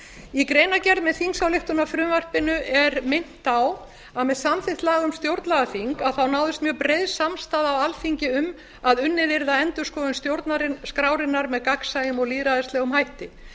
í greinargerð með þingsályktunarfrumvarpinu er beint á að með samþykkt laga um stjórnlagaþing náðist mjög breið samstaða á alþingi um að unnið yrði að endurskoðun stjórnarskrárinnar með gagnsæjum og lýðræðislegum hætti